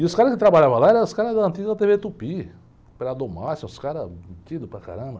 E os caras que trabalhavam lá eram os caras da antiga tê-vê Tupi, operador máximo, uns caras mentidos para caramba.